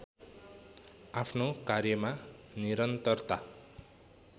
आफ्नो कार्यमा निरन्तरता